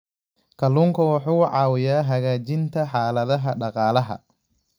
Kalluunku wuxuu caawiyaa hagaajinta xaaladaha dhaqaalaha.